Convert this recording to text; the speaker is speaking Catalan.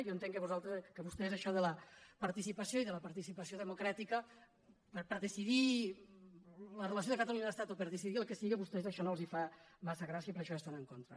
jo entenc que vostès això de la participació i de la participació democràtica per decidir la relació de catalunya amb l’estat o per decidir el que sigui a vostès això no els fa massa grà·cia i per això hi estan en contra